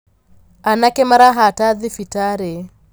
Anake marahata thibitarĩ.